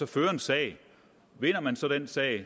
føre en sag vinder man så den sag